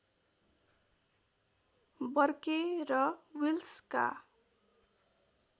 Burke र विल्सका